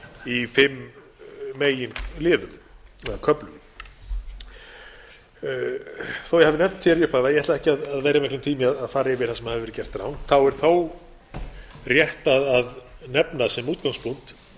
í fimm meginliðum eða köflum þó ég hafi nefnt í upphafi að ég ætli ekki að eyða miklum tíma í að fara yfir það sem hefur verið gert rangt þá er þó rétt að nefna sem útgangspunkt